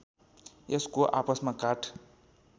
यसको आपसमा काठ